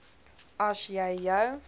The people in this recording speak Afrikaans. as jy jou